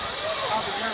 Oradan gəldi buraya.